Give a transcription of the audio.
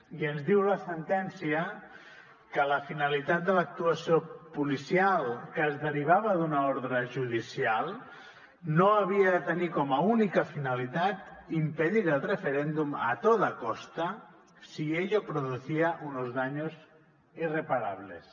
i ens diu la sentència que la finalitat de l’actuació policial que es derivava d’una ordre judicial no havia de tenir com a única finalitat impedir el referéndum a toda costa si ello producía unos daños irreparables